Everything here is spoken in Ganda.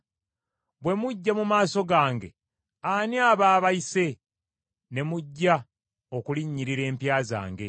Bwe mujja mu maaso gange, ani aba abayise ne mujja okulinnyirira empya zange?